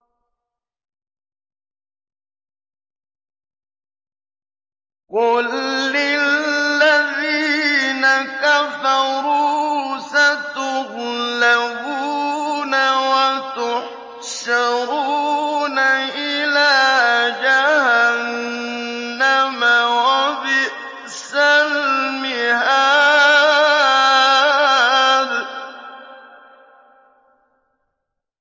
قُل لِّلَّذِينَ كَفَرُوا سَتُغْلَبُونَ وَتُحْشَرُونَ إِلَىٰ جَهَنَّمَ ۚ وَبِئْسَ الْمِهَادُ